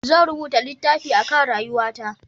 Zan rubuta littafi a kan rayuwa ta